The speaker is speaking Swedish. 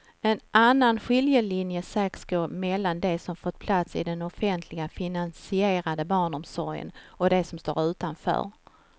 En annan skiljelinje sägs gå mellan de som fått plats i den offentligt finansierade barnomsorgen och de som står utanför.